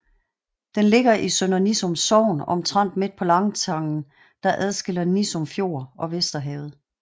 Den ligger i Sønder Nissum Sogn omtrent midt på landtangen der adskiller Nissum Fjord og Vesterhavet